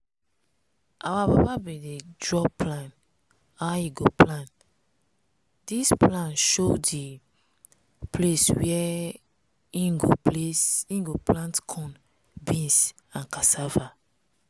our papa bin dey draw plan how e go plant. dis plan show di place where im go plant corn beans and cassava.